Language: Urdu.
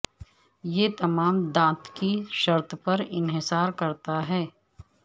یہ تمام دانت کی شرط پر انحصار کرتا ہے